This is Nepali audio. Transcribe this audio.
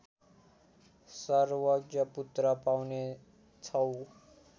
सर्वज्ञ पुत्र पाउनेछौ।